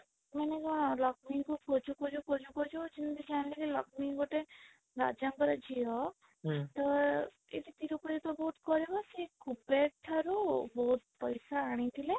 ମାନେ କଣ ଲକ୍ଷ୍ମୀ ଙ୍କୁ ଖୋଜୁ ଖୋଜୁ ଖୋଜୁ ଖୋଜୁ ଯେମିତି ଜାଣିଲେ କି ଲକ୍ଷ୍ମୀ ଗୋଟେ ରାଜା ଙ୍କର ଝିଅ ହୁଁ ତ ଏଠି ସବୁ କରିବ ସେ କୁବେର ଠାରୁ ବହୁତ ପଇସା ଆଣିଥିଲେ